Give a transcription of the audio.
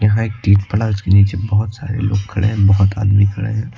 यहां एक टील पड़ा है उसके नीचे बहोत सारे लोग खड़े है बहोत आदमी खड़े हैं।